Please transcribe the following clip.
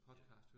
Ja